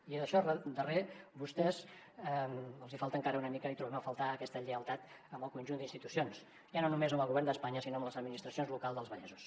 i d’això darrer a vostès els en falta encara una mica i trobem a faltar aquesta lleialtat amb el conjunt d’institucions ja no només amb el govern d’espanya sinó amb les administracions locals dels vallesos